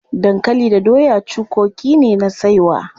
Dankali da doya cukoki ne na saiwa.